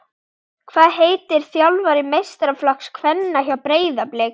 Hvað heitir þjálfari meistaraflokks kvenna hjá Breiðablik?